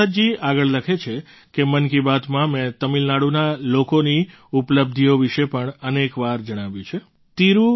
ગુરુપ્રસાદજી આગળ લખે છે કે મન કી બાતમાં મેં તમિલનાડુના લોકોની ઉપલબ્ધિઓ વિશે પણ અનેક વાર જણાવ્યું છે